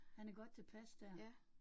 Han er godt tilpas dér